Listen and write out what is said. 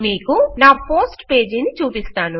మీకు నా post page ని చూపిస్తాను